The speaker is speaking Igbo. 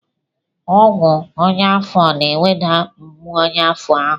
Ọgwụ ọnyá afọ na-eweda mgbu ọnyá afọ ahụ.